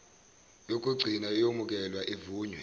yokugcina iyomukelwa ivunywe